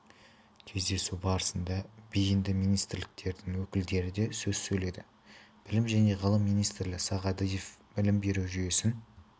кездесу барысында бейінді министрліктердің өкілдері де сөз сөйледі білім және ғылым министрі сағадиев білім беру жүйесін